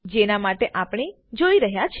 જેના માટે આપણે જોઈ રહ્યા છે